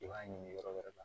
I b'a ɲini yɔrɔ wɛrɛ la